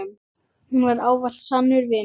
Hún var ávallt sannur vinur.